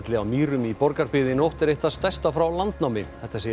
á Mýrum í Borgarbyggð í nótt er eitt það stærsta frá landnámi þetta segir